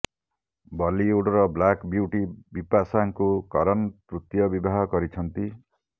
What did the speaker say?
ବଲିଉଡର black beauty ବିପାଶାଙ୍କୁ କରନ ତୃତୀୟ ବିବାହ କରିଛନ୍ତି